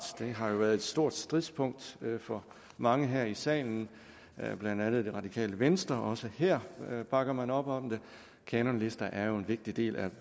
det har jo været et stor stridspunkt for mange her i salen blandt andet det radikale venstre også her bakker man op om det kanonlister er en vigtig del af